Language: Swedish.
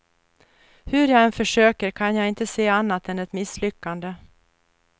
Hur jag än försöker kan jag inte se annat än ett misslyckande.